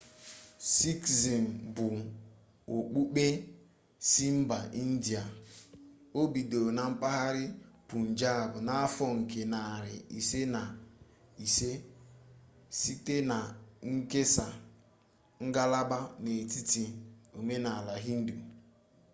sikizm bụ okpukpe si mba india o bidoro na mpaghara pụnjab n'ahọ nke narị iri na ise site na nkesa ngalaba n'etiti omenala hindu